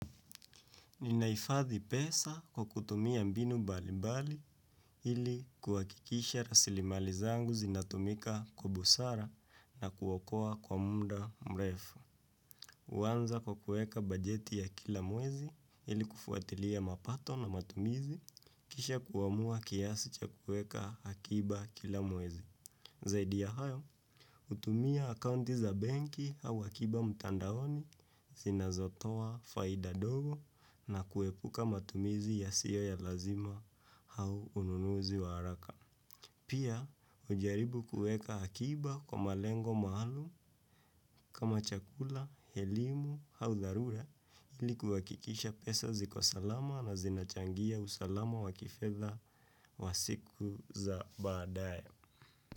Ninahifadhi pesa kwa kutumia mbinu mbali mbali ili kuhakikisha rasilimali zangu zinatumika kwa busara na kuokoa kwa muda mrefu. Huanza kwa kuweka bajeti ya kila mwezi ili kufuatilia mapato na matumizi kisha kuamua kiasi cha kuweka akiba kila mwezi. Zaidi ya hayo, hutumia akaunti za benki au akiba mtandaoni zinazotoa faida ndogo na kuepuka matumizi yasiyo ya lazima au ununuzi wa haraka. Pia, hujaribu kuweka akiba kwa malengo maalumu kama chakula, elimu au dharura ili kuhakikisha pesa zikosalama na zinachangia usalama wa kifedha wa siku za baadaye.